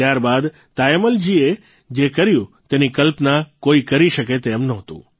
ત્યાર બાદ તાયમ્મલજીએ જે કર્યું તેની કલ્પના કોઇ કરી શકે તેમ નહોતું